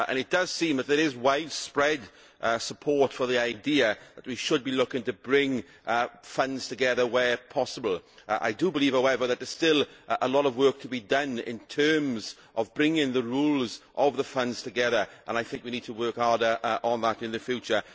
It does seem that there is widespread support for the idea that we should be looking to bring funds together where possible. I do believe however that there is still a lot of work to be done in terms of bringing the rules of the funds together and I think we need to work harder on that in the future.